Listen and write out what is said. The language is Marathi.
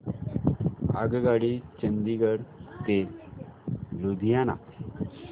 आगगाडी चंदिगड ते लुधियाना